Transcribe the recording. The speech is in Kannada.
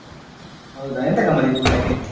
ಹೌದ ಎಂತ ಗಮ್ಮತ್ ಇತ್ತು ಊಟಕ್ಕೆ?